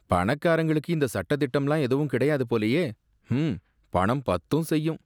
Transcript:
பணக்காரங்களுக்கு இந்த சட்டதிட்டம்லாம் எதுவும் கிடையாது போலயே. ஹம்ம் பணம் பத்தும் செய்யும்